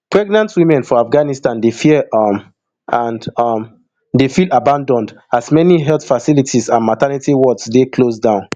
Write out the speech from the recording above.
pregnant women for afghanistan dey fear um and um dey feel abanAcceptedd as as many health facilities and maternity wards dey close down